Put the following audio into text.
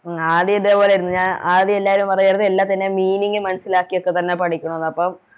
ആദ്യം ഇതേപോലെ ആയിരുന്നു ഞാൻ ആദ്യം എല്ലാരും പറയുവാരുന്നു എല്ലാത്തിൻറേം Meaning മനസ്സിലാക്കിയൊക്കെ തന്നെ പഠിക്കണോന്ന് അപ്പോം